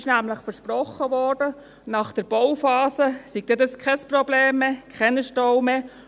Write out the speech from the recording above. Es wurde nämlich versprochen, nach der Bauphase werde dies kein Problem mehr sein: keine Staus mehr.